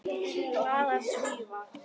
Glaðir Svíar.